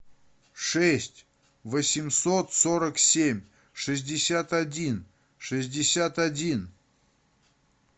шесть восемьсот сорок семь шестьдесят один шестьдесят один